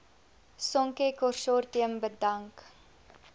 sonke konsortium bedank